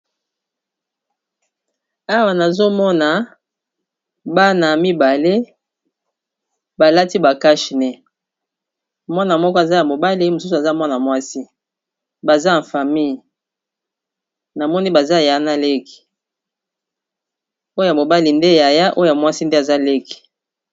Awa tozalikomona Bana mibale balati ba cashe nez Mwana moko aza mobali mosusu ya mwasi baza nakiti ya famille baza yaya na leki.